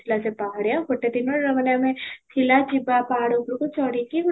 ଥିଲା ସେ ପାହାଡିଆ ଗୋଟେ ଦିନରେ ମାନେ ଆମେ ଥିଲା ଜୀବ ପାହାଡ ଉପରକୁ ଚଢି କି